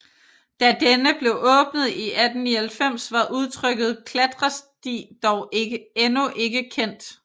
Da denne blev åbnet i 1899 var udtrykket klatresti dog endnu ikke kendt